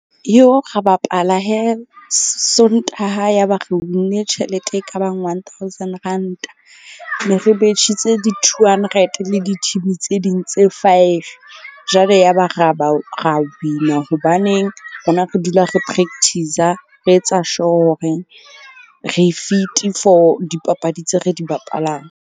Ra bapala Sontaha ya ba re win-ne tjhelete e ka bang one thousand ranta. Ne re betjhitse di-two hundred le di tse ding tse five. Jwale ya ba ra ba ra win-a hobaneng rona re dula re practice-a re etsa sure horeng re fit-i for dipapadi tseo re di bapalang.